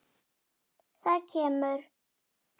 Það kemur.